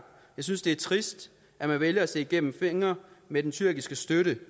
jeg synes at det er trist at man vælger at se igennem fingre med den tyrkiske støtte